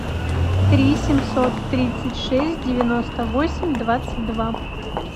три семьсот тридцать шесть девяносто восемь двадцать два